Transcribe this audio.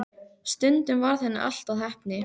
Stundum varð henni allt að heppni.